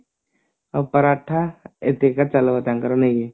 ଆଉ ପରାଠା ଏତିକିଟା ଚାଲିବ ତାଙ୍କର main